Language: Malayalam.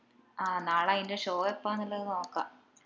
ആ നാളെ അയിന്റെ show എപ്പാന്ന് ഇള്ളത് നോക്കാ